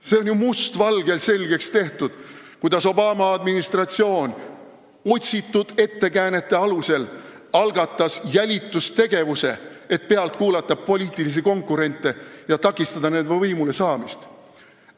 See on ju mustvalgelt selgeks tehtud, kuidas Obama administratsioon algatas otsitud ettekäänete alusel jälitustegevuse, et kuulata pealt poliitilisi konkurente ja takistada nende võimulesaamist.